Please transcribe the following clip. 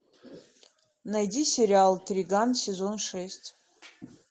найди сериал триган сезон шесть